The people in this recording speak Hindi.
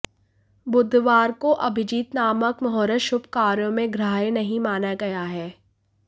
बुधवार को अभिजित नामक मुहूर्त शुभ कार्यों में ग्राह्य नहीं माना गया है